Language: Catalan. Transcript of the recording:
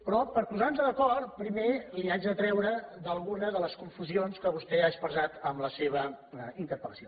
però per posar nos d’acord primer l’haig de treure d’algunes de les confusions que vostè ha expressat en la seva interpel·lació